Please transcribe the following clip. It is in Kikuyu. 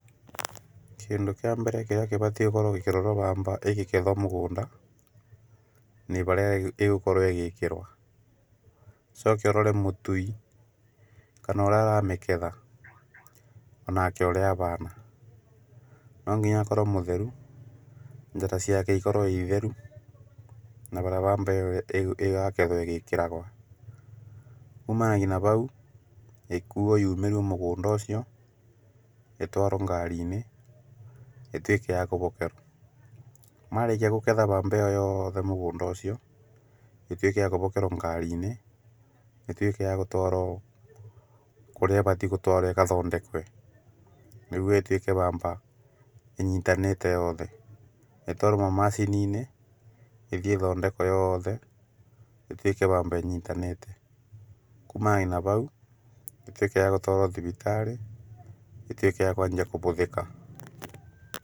Kĩndũ kĩa mbere kĩrĩa gĩbatairwo gũkorwo gĩkĩrorwo bamba ĩkĩgethwo mũgũnda nĩbarĩa ĩgũkorwo ĩgĩkĩrwo, ũcoke ũrore mũtui, kana ũrĩa aramĩketha onake ũrĩa abana. No nginya akorwo mũtheru, njara ciake ikorwo itheru na bamba ĩyo yagethwo ĩgĩkĩragwo. Kumanagia na bau ĩkuo yumĩrio mũgũnda ũcio, ĩtwarwo ngari-inĩ, ĩtuĩke ya gũbokerwo. Marĩkia kũgetha bamba ĩo yothe mũgũnda ũcio, ĩtuĩke ya gũbokerwo ngari-inĩ, ĩtuĩke ya gũtwarwo kũrĩa ĩbatiĩ gũtwarwo ĩgathondekwe, nĩguo ĩtuĩke bamba ĩnyitanĩte yothe. Ĩtwarwo macini-inĩ ĩthiĩ ĩthondekwo yothe, ĩtuĩke bamba ĩnyitanĩte. Kumanagia na bau ĩtuĩke ya gũtwarwo thibitarĩ, ĩtuĩke ya kwanjia kũhũthĩke.